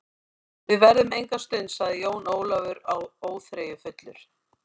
Við verðum enga stund, sagði Jón Ólafur óþreyjufullur.